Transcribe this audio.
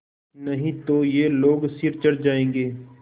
नहीं तो ये लोग सिर चढ़ जाऐंगे